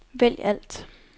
vælg alt